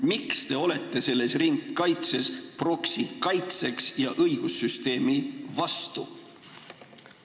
Miks te olete selles ringkaitses prokuratuuri kaitseks ja õigussüsteemi vastu?